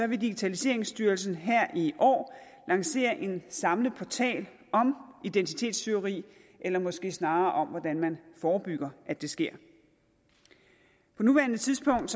vil digitaliseringsstyrelsen her i år lancere en samlet portal om identitetstyveri eller måske snarere om hvordan man forebygger at det sker på nuværende tidspunkt